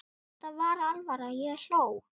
Þetta var alvara, ég hló.